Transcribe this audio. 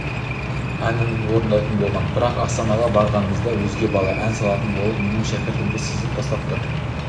әнін орындайтын болған бірақ астанаға барғанымызда өзге бала ән салатын болып менің шәкіртімді сызып тастапты